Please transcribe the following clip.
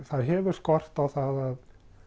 það hefur skort á það